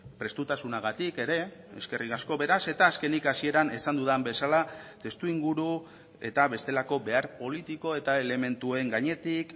prestutasunagatik ere eskerrik asko beraz eta azkenik hasieran esan dudan bezala testuinguru eta bestelako behar politiko eta elementuen gainetik